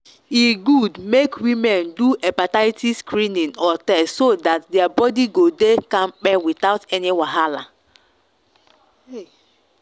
e good make women do hepatitis screening or test so that their body go dey kampe without any wahala.